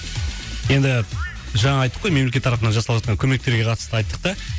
енді жаңа айттық қой мемлекет тарапынан жасалып жатқан көмектерге қатысты айттық та